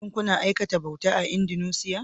Shin kuna aikata bauta a Indunusiya?